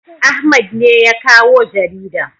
Ahmad ne ya kawo jaridan